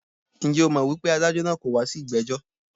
Njẹ́ o mọ̀ wípé adájọ́ naa kọ̀ wá sí ìgbẹ́jọ́?